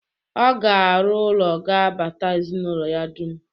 Ọ ga-arụ ụlọ ga-abata ezinaụlọ ya dum.